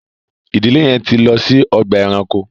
ìdílé yén tí lọ si Ọgbà ẹranko